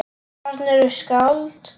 Þarna eru skáld.